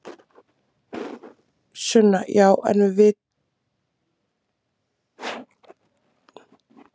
Sunna: Já en vitum við eitthvað hvað orsakaði slysið?